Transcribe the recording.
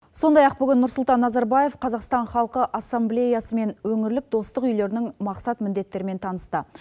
сондай ақ бүгін нұрсұлтан назарбаев қазақстан халқы ассамблеясымен өңірлік достық үйілерінің мақсат міндеттерімен танысты